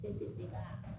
E tɛ se ka